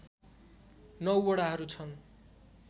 ९ वडाहरू छन्